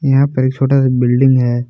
यहा पर एक छोटा सा बिल्डिंग है।